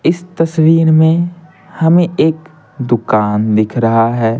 इस तस्वीर में हमें एक दुकान दिख रहा है।